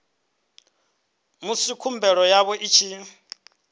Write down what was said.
musi khumbelo yavho i tshi